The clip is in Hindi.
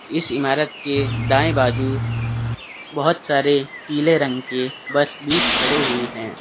इस इमारत के दाएं बाजू बहोत सारे पीले रंग के बस भी खड़े हुए है।